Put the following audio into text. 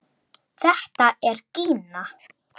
Þetta er Gína!